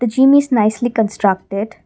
the gym is nicely constructed.